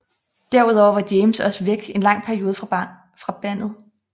Derudover var James også væk en lang periode fra bandet